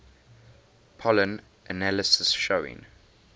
pollen analysis showing